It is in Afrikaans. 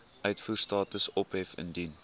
uitvoerstatus ophef indien